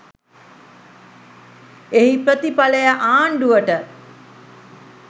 එහි ප්‍රතිඵලය ආණ්ඩුවට